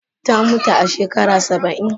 Ta muta a shekara Saba'in.